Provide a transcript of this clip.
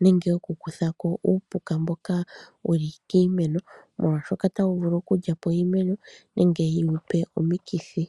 nenge oku kutha ko uupuka mboka wuli kiimeno, molwaashoka otawu vulu oku lyapo iimeno, nenge wu yipe omikithi.